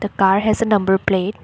Car has a number plate.